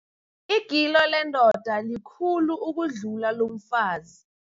Igilo lendoda likhulu kunalelo lomfazi.